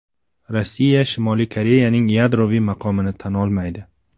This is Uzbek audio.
Rossiya Shimoliy Koreyaning yadroviy maqomini tan olmaydi.